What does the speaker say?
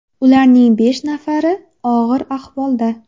Ularning besh nafari og‘ir ahvolda.